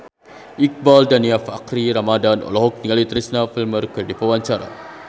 Iqbaal Dhiafakhri Ramadhan olohok ningali Teresa Palmer keur diwawancara